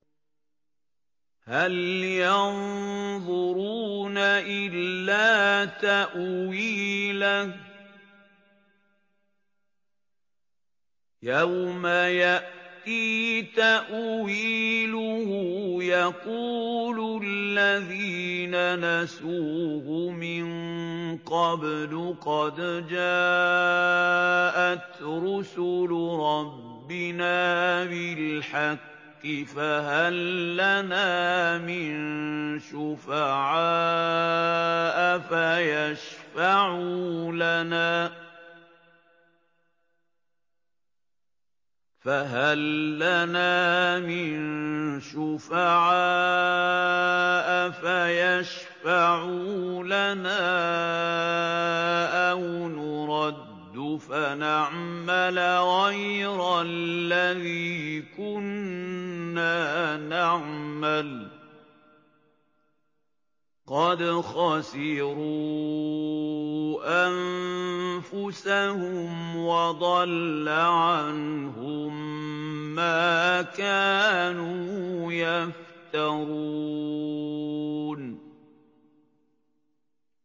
هَلْ يَنظُرُونَ إِلَّا تَأْوِيلَهُ ۚ يَوْمَ يَأْتِي تَأْوِيلُهُ يَقُولُ الَّذِينَ نَسُوهُ مِن قَبْلُ قَدْ جَاءَتْ رُسُلُ رَبِّنَا بِالْحَقِّ فَهَل لَّنَا مِن شُفَعَاءَ فَيَشْفَعُوا لَنَا أَوْ نُرَدُّ فَنَعْمَلَ غَيْرَ الَّذِي كُنَّا نَعْمَلُ ۚ قَدْ خَسِرُوا أَنفُسَهُمْ وَضَلَّ عَنْهُم مَّا كَانُوا يَفْتَرُونَ